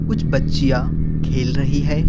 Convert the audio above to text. कुछ बच्चियां खेल रही है।